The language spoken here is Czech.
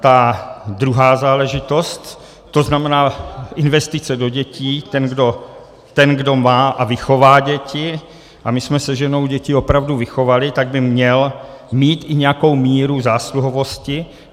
Ta druhá záležitost, to znamená investice do dětí, ten, kdo má a vychová děti, a my jsme se ženou děti opravdu vychovali, tak by měl mít i nějakou míru zásluhovosti.